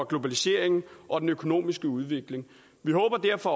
globaliseringen og af den økonomiske udvikling vi håber derfor